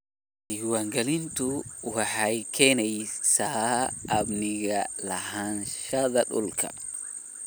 Diiwaangelintu waxay keenaysaa amniga lahaanshaha dhulka.